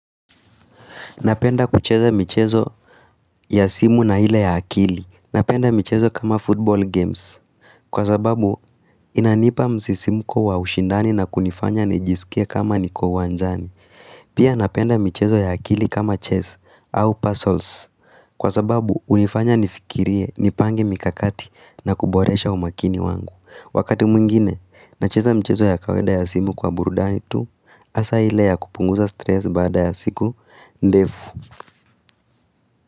Napenda kucheza michezo ya simu na ile ya akili. Napenda michezo kama football games. Kwa sababu, inanipa msisimu kwa ushindani na kunifanya nijiskia kama niko uwanjani. Pia napenda michezo ya akili kama chess au puzzles. Kwa sababu, unifanya nifikirie, nipange mikakati na kuboresha umakini wangu. Wakati mwingine, nacheza michezo ya kawenda ya simu kwa burudani tu, asa ile ya kupunguza stress bada ya siku, ndefu.